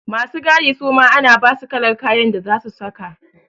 Masu gadi suma ana basu kalar kayan da zasu saka.